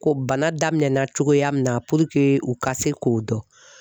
Ko bana daminɛna cogoya min na u ka se k'o dɔn.